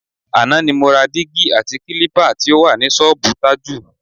Àná ni mo ra dígí àti kílípà tí ó wà ní s̩ó̩ò̩bù Tájù.